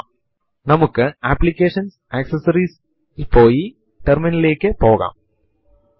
അപ്പോഴും നമ്മൾക്ക് നിലവിലുള്ള പാസ്സ്വേർഡ് അറിയാതെ തന്നെ പാസ്സ്വേർഡ് മാറ്റുവാൻ കഴിയും